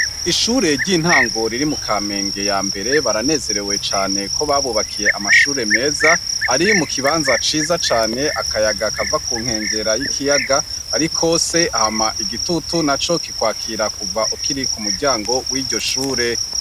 Ishure ry'intangoriri mu kamenge ya mbere baranezerewe cane ko babubakiye amashure meza ari mu kibanza ciza cane akayaga akava ku nkengera y'ikiyaga, ariko se ahama igitutu na co kikwakira kuva ukiriku muryango w'iryo shure.